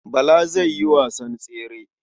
Bala zai yi wasan tsere.